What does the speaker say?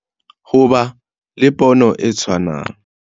Ho ba le pono e tshwanang